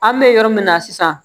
An bɛ yɔrɔ min na sisan